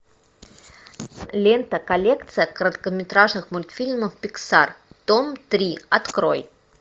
лента коллекция короткометражных мультфильмов пиксар том три открой